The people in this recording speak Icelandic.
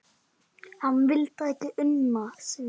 Hann vildi ekki una því.